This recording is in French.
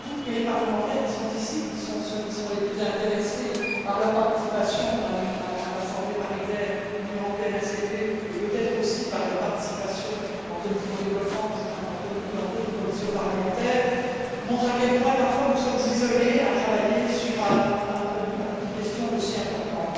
Les parlementaires qui sont ici, qui sont sans doute ceux qui sont le plus intéressés par leur participation à l'Assemblée paritaire ACP UE et peut être aussi par leur participation en commission du développement pour certains d'entre nous ou dans d'autres commissions parlementaires montrent à quel point parfois nous sommes isolés à travailler sur une question aussi importante.